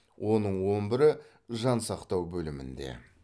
оның он бірі жансақтау бөлімінде